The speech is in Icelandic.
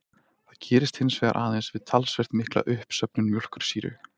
Það gerist hins vegar aðeins við talsvert mikla uppsöfnun mjólkursýru.